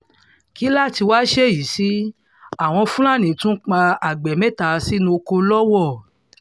kí láá tí wàá ṣèyí sí àwọn fúlàní tún pa agbe mẹ́ta sínú ọkọ̀ lọ́wọ́